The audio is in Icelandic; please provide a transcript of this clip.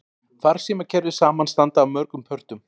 Farsímakerfi samanstanda af mörgum pörtum.